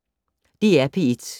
DR P1